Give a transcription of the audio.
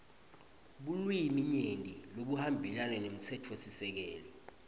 bulwiminyenti lobuhambelana nemtsetfosisekelo